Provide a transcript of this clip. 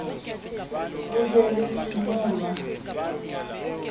ho be le ho senolwa